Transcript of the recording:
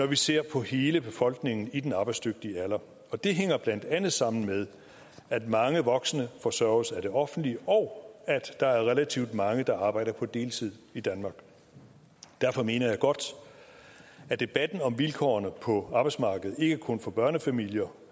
vi ser på hele befolkningen i den arbejdsdygtige alder og det hænger blandt andet sammen med at mange voksne forsørges af det offentlige og at der er relativt mange der arbejder på deltid i danmark derfor mener jeg godt at debatten om vilkårene på arbejdsmarkedet ikke kun for børnefamilier